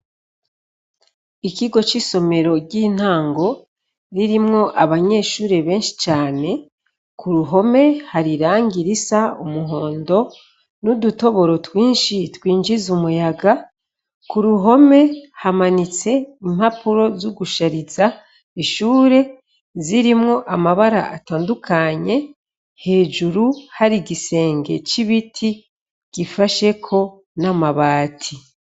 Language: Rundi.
Ikigo c' isomero ry' intango, ririmw' abanyeshure benshi cane, kuruhome har' irangi ris' umuhondo n udutoboro twinshi twinjiz' umuyaga, kuruhome hamanits' impapuro zogushariz' ishure, zirimw' amabar' atandukanye, hejuru har' igisenge c' ibiti gifasheko n' amabati.